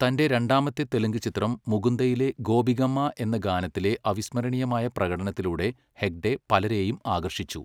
തന്റെ രണ്ടാമത്തെ തെലുങ്ക് ചിത്രം 'മുകുന്ദ'യിലെ 'ഗോപികമ്മ' എന്ന ഗാനത്തിലെ അവിസ്മരണീയമായ പ്രകടനത്തിലൂടെ ഹെഗ്ഡെ പലരെയും ആകർഷിച്ചു.